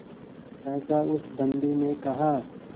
सहसा उस बंदी ने कहा